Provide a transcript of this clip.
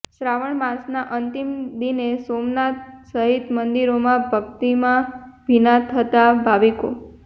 શ્રાાવણ માસના અંતિમ દિને સોમનાથ સહિત મંદિરોમાં ભકિતમાં ભીના થતા ભાવિકો